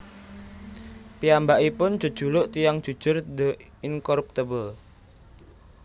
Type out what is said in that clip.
Piyambakipun jejuluk Tiyang Jujur The Incorruptable